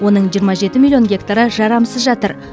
оның жиырма жеті миллион гектары жарамсыз жатыр